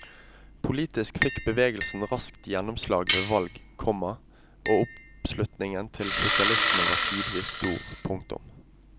Politisk fikk bevegelsen raskt gjennomslag ved valg, komma og oppslutningen til sosialistene var tidvis stor. punktum